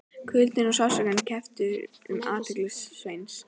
Kuldinn og sársaukinn kepptu um athygli Sveins.